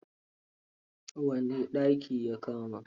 Wane daki ya kama?